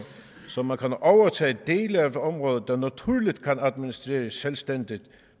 så man kan overtage dele af et område der naturligt kan administreres selvstændigt